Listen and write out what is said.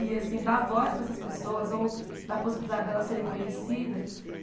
E, assim, dar voz para essas pessoas ou dar a possibilidade de elas serem conhecidas.